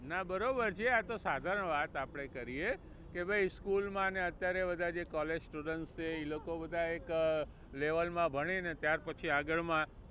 ના બરોબર છે આતો સાધારણ વાત આપણે કરીએ કે ભાઈ school માં ને અત્યારે બધા જે college student છે એ લોકો બધા એક level માં ભણી ને ત્યાર પછી આગળ માં